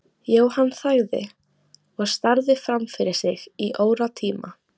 Jóhann þagði og starði fram fyrir sig í óratíma.